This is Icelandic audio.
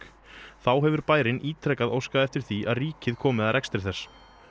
þá hefur bærinn ítrekað óskað eftir því að ríkið komi að rekstri þess